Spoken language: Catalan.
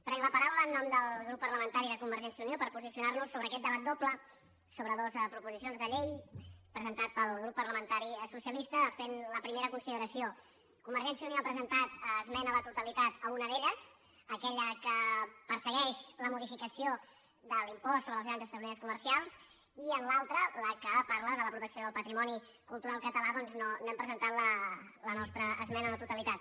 prenc la paraula en nom del grup parlamentari de convergència i unió per posicionar nos sobre aquest debat doble sobre dos proposicions de llei presentat pel grup parlamentari socialista fent la primera consideració convergència i unió ha presentat esmena a la totalitat a una d’elles aquella que persegueix la modificació de l’impost sobre els grans establiments comercials i en l’altra la que parla de la protecció del patrimoni cultural català doncs no hem presentat la nostra esmena a la totalitat